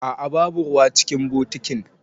A'a babu ruwa cikin bokitin.